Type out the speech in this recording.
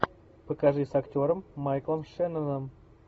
покажи с актером майклом шенноном